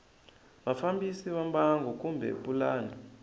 vafambisi va mbangu kumbe pulani